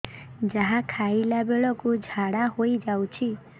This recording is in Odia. ଯାହା ଖାଇଲା ବେଳକୁ ଝାଡ଼ା ହୋଇ ଯାଉଛି